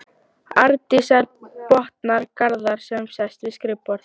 Arndísar, botnar Garðar sem sest við skrifborðið.